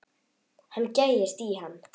Hann gægist í hann.